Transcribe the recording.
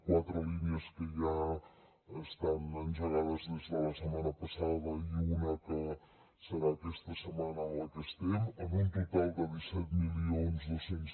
quatre línies que ja estan engegades des de la setmana passada i una que serà aquesta setmana en la que estem amb un total de disset mil dos cents